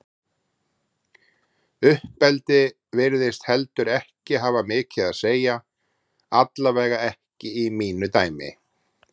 Uppeldi virðist heldur ekki hafa mikið að segja, allavega ekki í mínu dæmi.